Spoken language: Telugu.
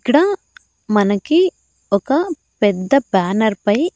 ఇక్కడ మనకి ఒక పెద్ద బ్యానర్ పై .